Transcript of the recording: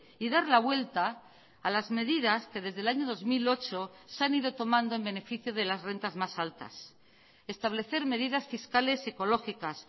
y dar la vuelta a las medidas que desde el año dos mil ocho se han ido tomando en beneficio de las rentas más altas establecer medidas fiscales ecológicas